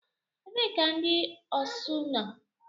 Ebee ka ndị osu nọ?